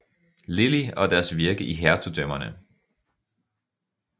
Lillie og deres virke i hertugdømmerne